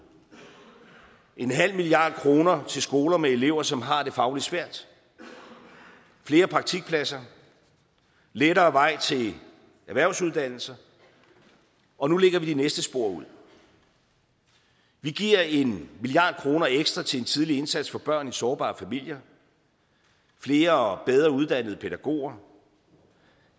en halv milliard kroner til skoler med elever som har det fagligt svært flere praktikpladser og lettere vej til erhvervsuddannelser og nu lægger vi de næste spor ud vi giver en milliard kroner ekstra til en tidlig indsats for børn i sårbare familier flere og bedre uddannede pædagoger